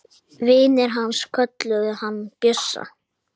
Vinir hans kölluðu hann Bjössa.